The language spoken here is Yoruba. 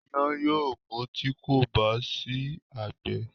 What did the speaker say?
Iyan yóò mú tíkòbá sí àgbẹ̀.